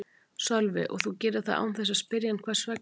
Sölvi: Og þú gerir það án þess að spyrja hann hvers vegna?